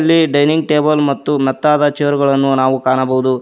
ಈ dining table ಮತ್ತು ಮೆತ್ತಾದ ಚೇರ್ ಗಳನ್ನು ನಾವು ಕಾಣಬಹುದು.